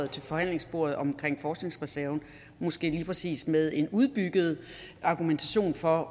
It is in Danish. til forhandlingsbordet omkring forskningsreserven måske lige præcis med en udbygget argumentation for